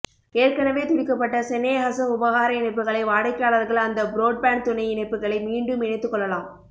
ஏற்கனவே துடிக்கப்பட்ட செனேஹச உபஹார இணைப்புகளை வாடிக்கையாளர்கள் அந்த புரோட்பான்ட் துணை இணைப்புகளை மீண்டும் இணைத்துக்கொள்ளலாம்